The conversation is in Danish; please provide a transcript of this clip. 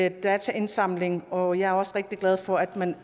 i dataindsamlingen og jeg er også rigtig glad for at man